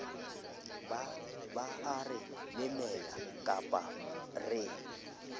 ba are lemela kapaba re